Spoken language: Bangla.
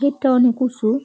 গেট -টা অনেক উঁচু ।